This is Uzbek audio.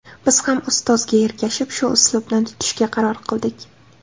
Biz ham ustozga ergashib, shu uslubni tutishga qaror qildik.